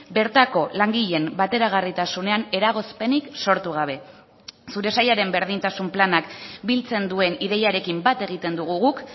bertako langileen bateragarritasunean eragozpenik sortu gabe zure sailaren berdintasun planak biltzen duen ideiarekin bat egiten dugu guk